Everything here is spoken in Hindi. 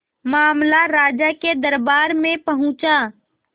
मामला राजा के दरबार में पहुंचा